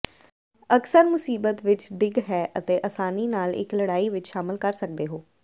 ਅਕਸਰ ਮੁਸੀਬਤ ਵਿੱਚ ਡਿੱਗ ਹੈ ਅਤੇ ਆਸਾਨੀ ਨਾਲ ਇੱਕ ਲੜਾਈ ਵਿੱਚ ਸ਼ਾਮਲ ਕਰ ਸਕਦੇ ਹੋ